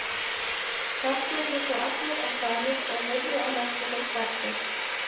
Starfsmenn bjuggu allir á staðnum og lifðu að mestu fyrir starf sitt.